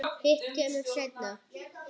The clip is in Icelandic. Hitt kemur seinna.